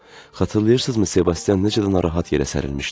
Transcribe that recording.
Xatırlayırsızmı Sebastian necə də narahat yerə sərilmişdi?